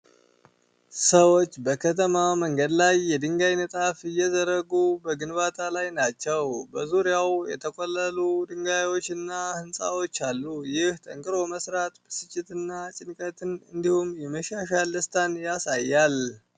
ሰዎች በከተማ መንገድ ላይ የድንጋይ ንጣፍ እየዘረጉ በግንባታ ላይ ናቸው። በዙሪያው የተቆለሉ ድንጋዮችና ሕንፃዎች አሉ። ይህ ጠንክሮ መሥራት ብስጭትና ጭንቀትን እንዲሁም የመሻሻል ደስታን ያሳያል።